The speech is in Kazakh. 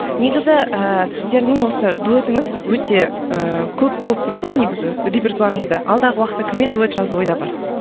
негізі ііі сіздердің осы дуэтіңіз өте ііі көп болды деп еді ғой негізі репертуарыңызда алдағы уақытта кіммен дуэт жазу ойда бар